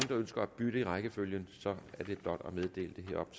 der ønsker at bytte i rækkefølgen er det blot at meddele det heroppe